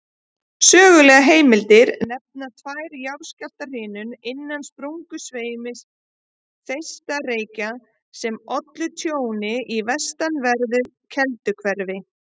Sögulegar heimildir nefna tvær jarðskjálftahrinur innan sprungusveims Þeistareykja sem ollu tjóni í vestanverðu Kelduhverfi.